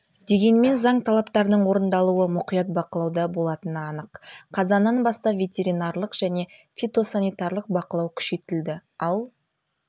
дегенмен заң талаптарының орындалуы мұқият бақылауда болатыны анық қазаннан бастап ветеринарлық және фитосанитарлық бақылау күшейтілді ал